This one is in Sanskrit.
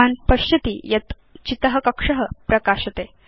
भवान् पश्यति यत् चित कक्ष प्रकाशते